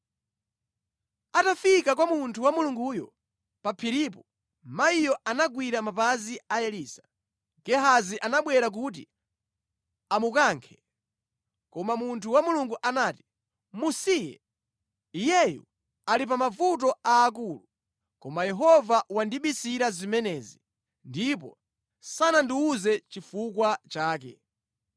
Atafika kwa munthu wa Mulunguyo pa phiripo, mayiyo anagwira mapazi a Elisa. Gehazi anabwera kuti amukankhe, koma munthu wa Mulungu anati, “Musiye! Iyeyu ali pa mavuto aakulu, koma Yehova wandibisira zimenezi ndipo sanandiwuze chifukwa chake.”